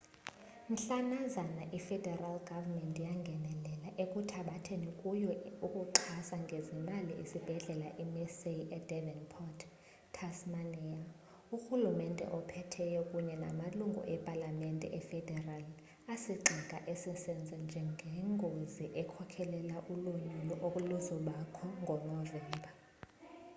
mhlanazana i federal government yangenelela ekuthabathethi kuyo ukuxhasa ngezimali isibhedlela i mersey e devonport, tasmania urhulumente ophetheyo kunye namalungi epalamemete efederali asigxeka esi senzo njengengozi ekhokhela ulonyulo eluzakubakho ngo novemba